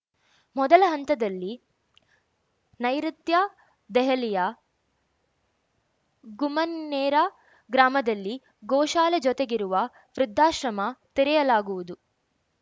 ಮೊದಲ ಹಂತದಲ್ಲಿ ನೈಋುತ್ಯ ದೆಹಲಿಯ ಗುಮ್ಮನ್ಹೇರಾ ಗ್ರಾಮದಲ್ಲಿ ಗೋಶಾಲೆ ಜೊತೆಗಿರುವ ವೃದ್ಧಾಶ್ರಮ ತೆರೆಯಲಾಗುವುದು